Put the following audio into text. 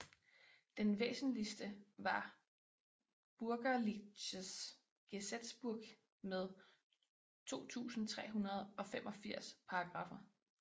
Den væsentligste var Bürgerliches Gesetzbuch med 2385 paragraffer